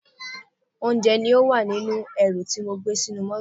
Oúnjẹ ní ó wà nínú ẹrù tí mo gbé sínú mọ́tọ̀.